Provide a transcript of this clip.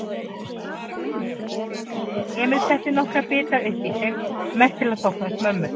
Emil setti nokkra bita uppí sig, mest til að þóknast mömmu.